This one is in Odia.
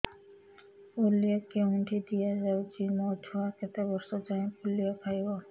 ପୋଲିଓ କେଉଁଠି ଦିଆଯାଉଛି ମୋ ଛୁଆ କେତେ ବର୍ଷ ଯାଏଁ ପୋଲିଓ ଖାଇବ